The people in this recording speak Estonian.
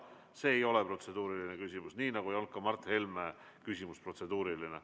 See ei ole protseduuriline küsimus, nii nagu ei olnud ka Mart Helme küsimus protseduuriline.